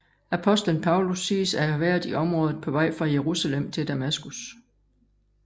Apostlen Paulus siges at have været i området på vej fra Jerusalem til Damaskus